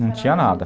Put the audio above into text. Não tinha nada.